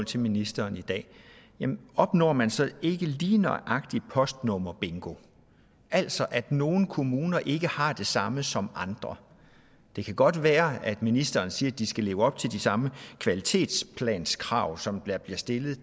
til ministeren i dag opnår man så ikke lige nøjagtig at lave postnummerbingo altså at nogle kommuner ikke har det samme som andre det kan godt være at ministeren siger at de skal leve op til de samme kvalitetsplanskrav som der bliver stillet